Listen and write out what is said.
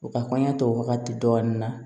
U ka kɔɲɔ to wagati dɔɔni na